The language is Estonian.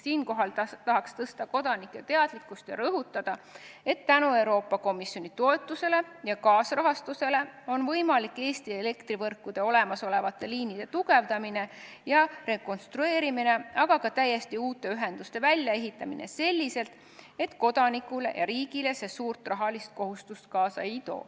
Siinkohal tahan suurendada kodanike teadlikkust ja rõhutada, et tänu Euroopa Komisjoni toetusele ja kaasrahastusele on võimalik Eesti elektrivõrkude olemasolevaid liine tugevdada ja rekonstrueerida, aga ka täiesti uusi ühendusi välja ehitada selliselt, et see kodanikele ja riigile suurt rahalist kohustust kaasa ei too.